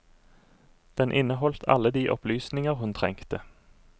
Den inneholdt alle de opplysninger hun trengte.